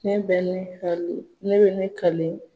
Ne bɛ ne kale ne bɛ ne ka.